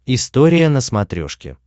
история на смотрешке